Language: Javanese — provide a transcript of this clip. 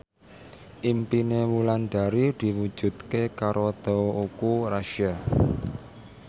impine Wulandari diwujudke karo Teuku Rassya